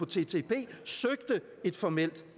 ttip søgte et formelt